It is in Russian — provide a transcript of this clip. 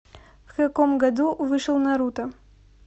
в каком году вышел наруто